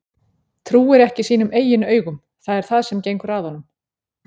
Trúir ekki sínum eigin augum, það er það sem gengur að honum